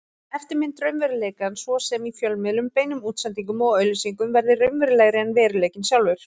Eftirmyndir raunveruleikans, svo sem í fjölmiðlum, beinum útsendingum og auglýsingum, verða raunverulegri en veruleikinn sjálfur.